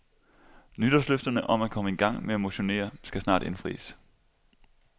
Nytårsløfterne om at komme i gang med at motionere skal snart indfries.